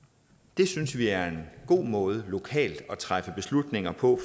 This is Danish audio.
det synes vi er en god måde lokalt at træffe beslutninger på